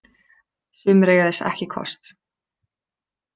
Sumir eiga þess ekki kost